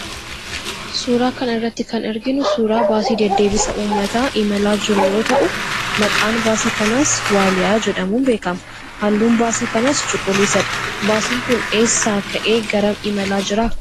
Suuraa kana irratti kan arginu suuraa baasii deddeebisa uummataa imalaa jiruu yoo ta'u, maqaan baasii kanaas Waaliyaa jedhamuun beekama. Halluun baasii kanaas cuquliisadha. Baasiin kun eessaa ka'ee garam imalaa jira?